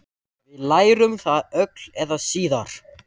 Við lærum það öll eða síðar.